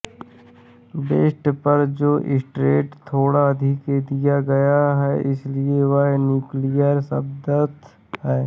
best पर जोर stress थोड़ा अधिक दिया गया है इसलिए यह न्यूक्लियर शब्दांश है